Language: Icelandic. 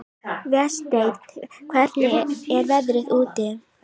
Vésteinn, hvernig er veðrið úti?